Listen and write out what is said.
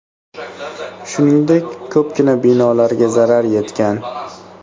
Shuningdek, ko‘pgina binolarga zarar yetgan.